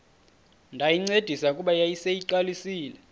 ndayincedisa kuba yayiseyiqalisile